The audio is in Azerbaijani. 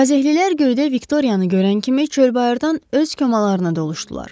Kazelilər göydə Viktoriyanı görən kimi çöl bayırdan öz komalarına doluşdular.